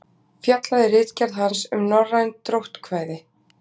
Fjallaði ritgerð hans um norræn dróttkvæði.